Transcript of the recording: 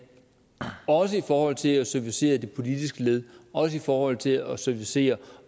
også i forhold til at servicere det politiske led også i forhold til at servicere